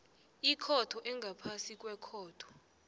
ikhotho engaphasi kwekhotho